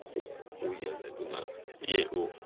хуй я зайду на е о